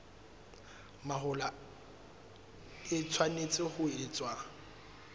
mahola e tshwanetse ho etswa